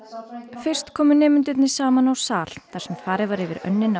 fyrst komu nemendurnir saman á sal þar sem farið var yfir önnina